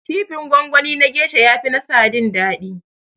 Kifin gwangwani na gesha ya fi na sadin daɗi